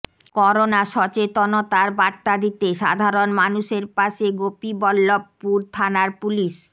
corona সচেতনতার বার্তা দিতে সাধারণ মানুষের পাশে গোপীবল্লভপুর থানার পুলিশ